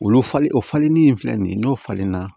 Olu falen o falenni in filɛ nin ye n'o falenna